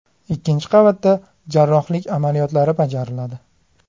Ikkinchi qavatda jarrohlik amaliyotlari bajariladi.